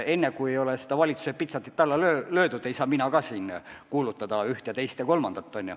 Enne kui valitsuse pitsatit pole alla löödud, ei saa ma siin kuulutada ühte, teist ega kolmandat.